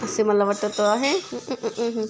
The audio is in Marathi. असे मला वाटत आहे.